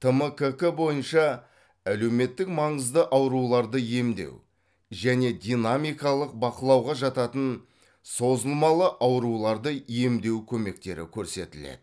тмккк бойынша әлеуметтік маңызды ауруларды емдеу және динамикалық бақылауға жататын созылмалы ауруларды емдеу көмектері көрсетіледі